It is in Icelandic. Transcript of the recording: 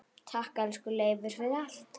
Takk, elsku Leifur, fyrir allt.